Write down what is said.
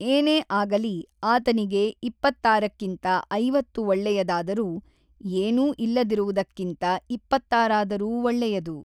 ಏನೇ ಆಗಲಿ ಆತನಿಗೆ ಇಪ್ಪತ್ತಾರಕ್ಕಿಂತ ಐವತ್ತು ಒಳ್ಳೆಯದಾದರೂ, ಏನೂ ಇಲ್ಲದಿರುವುದಕ್ಕಿಂತ ಇಪ್ಪತ್ತಾರಾದರೂ ಒಳ್ಳೆಯದು.